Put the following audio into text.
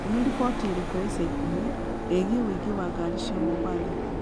Nĩ riboti ĩrĩkũ ya ica ikuhĩ ĩgiĩ ũingĩ wa ngari cia mombatha